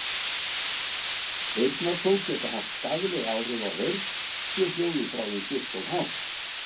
Heyrnartól geta haft skaðleg áhrif á heyrn, sé hljóðið frá þeim stillt of hátt.